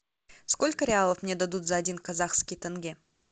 сколько реалов мне дадут за один казахский тенге